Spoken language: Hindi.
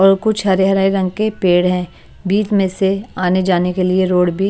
और कुछ हरे हराए रंग के पेड़ हैं बीच में से आने जाने के लिए रोड भी --